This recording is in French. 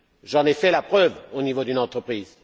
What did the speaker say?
J'en ai fait la preuve au niveau d'une entreprise.